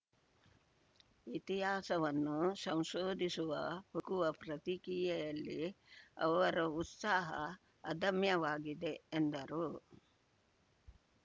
ಇತಿಹಾಸವನ್ನು ಸಂಶೋಧಿಸುವ ಹುಡುಕುವ ಪ್ರಕ್ರಿಯೆಯಲ್ಲಿ ಅವರ ಉತ್ಸಾಹ ಅದಮ್ಯವಾಗಿದೆ ಎಂದರು